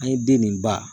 An ye den nin ba